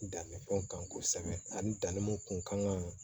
Dannifɛnw kan kosɛbɛ ani danni mun kun kan ka